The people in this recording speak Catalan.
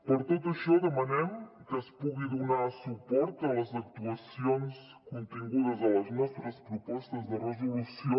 per tot això demanem que es pugui donar suport a les actuacions contingudes a les nostres propostes de resolució